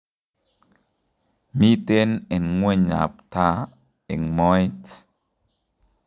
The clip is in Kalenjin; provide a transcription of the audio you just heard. Miten eng' ng'weny ab taa eng' mooet